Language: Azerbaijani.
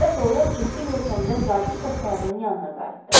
Və sonra ciddi görkəmdə zabit dostlarının yanına qayıtdı.